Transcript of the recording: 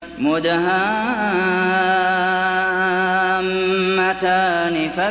مُدْهَامَّتَانِ